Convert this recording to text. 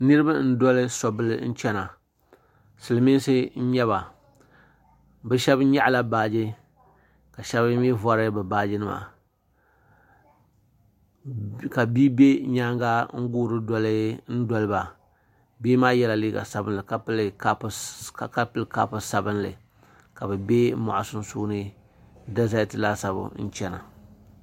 Niriba n doli so bila nchɛna Silimiinsi n yɛba bi shɛba yɛɣi la baaji ka shɛba mi vori bi baaji nima ka bia bɛ yɛanga n guuri doli ba bia maa yɛla liiga sabinli ka pili kapu sabinli ka bibɛ mɔɣu sunsuuni dazɛti laasabu n chɛna.